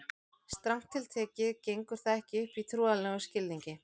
Strangt til tekið gengur það ekki upp í trúarlegum skilningi.